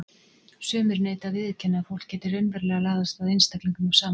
Sumir neita að viðurkenna að fólk geti raunverulega laðast að einstaklingum af sama kyni.